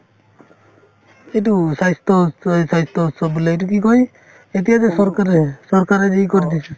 এইটো স্বাস্থ্যৰ উৎ স্বাস্থ্যৰ উৎসৱ বোলে এইটো কি কই এতিয়া যে চৰকাৰে চৰকাৰে যে এই কৰি দিছে